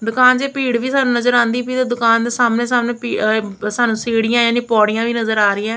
ਦੁਕਾਨ ਚ ਭੀੜ ਵੀ ਸਾਨੂੰ ਨਜ਼ਰ ਆਉਂਦੀ ਪਈ ਤੇ ਦੁਕਾਨ ਦੇ ਸਾਹਮਣੇ ਸਾਹਮਣੇ ਸਾਨੂੰ ਸੀੜੀਆਂ ਯਾਨੀ ਪੌੜੀਆਂ ਵੀ ਨਜ਼ਰ ਆ ਰਹੀਆਂ ਹੈਂ।